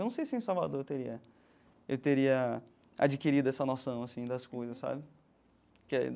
Eu não sei se em Salvador eu teria eu teria adquirido essa noção assim das coisas, sabe? Que é.